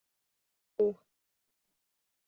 Ú